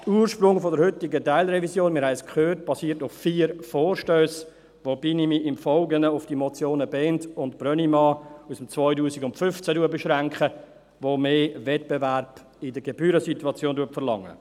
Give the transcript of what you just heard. Der Ursprung der heutigen Teilrevision – wir haben es gehört – basiert auf vier Vorstössen, wobei ich mich im Folgenden auf die Motionen Bhend und Brönnimann aus dem Jahr 2015 beschränke, die mehr Wettbewerb in der Gebührensituation verlangen.